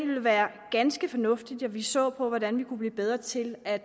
ville være ganske fornuftigt at vi så på hvordan man kunne blive bedre til at